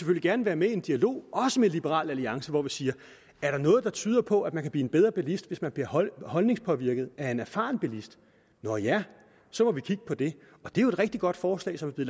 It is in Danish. gerne være med i en dialog også med liberal alliance hvor vi siger er der noget der tyder på at man kan blive en bedre bilist hvis man bliver holdningspåvirket af en erfaren bilist nå ja så må vi kigge på det og det er jo et rigtig godt forslag som er